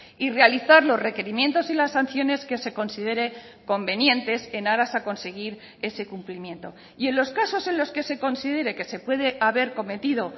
y realizar los requerimientos y las sanciones que se considere convenientes en aras a conseguir ese cumplimiento y en los casos en los que se considere que se puede haber cometido